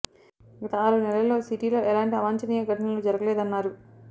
గత ఆరు నెలలు లో సిటీలో ఎలాంటి అవాంఛనీయ ఘటనలు జరగలేదన్నారు